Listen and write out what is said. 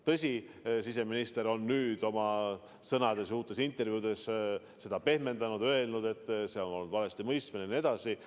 Tõsi, siseminister on nüüd oma sõnades ja uutes intervjuudes seda pehmendanud ja öelnud, et see on olnud valestimõistmine ja nii edasi.